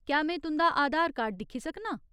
क्या में तुं'दा आधार कार्ड दिक्खी सकनां ?